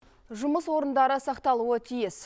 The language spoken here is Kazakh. жұмыс орындары сақталуы тиіс